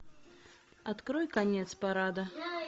открой конец парада